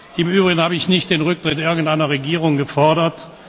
Im Übrigen habe ich nicht den Rücktritt irgendeiner Regierung gefordert.